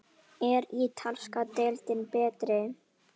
Er ítalska deildin betri?